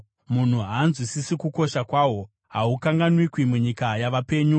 Munhu haanzwisisi kukosha kwahwo; hahungawanikwi munyika yavapenyu.